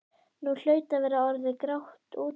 Nú hlaut að vera orðið grátt úti.